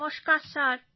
নমস্কার স্যার